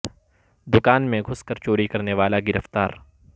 د کان میں گھس کر چوری کرنے والا گرفتار